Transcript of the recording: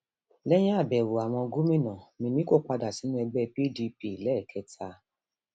lẹyìn àbẹwò àwọn gómìnà mímíkò padà sínú ẹgbẹ pdp lẹẹkẹta